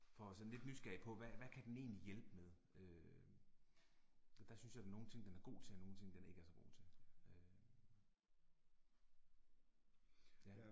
For sådan lidt nysgerrig på, hvad hvad kan den egentlig hjælpe med, øh der synes jeg der er nogen ting den er god til og nogen ting den ikke er så god til, øh. Ja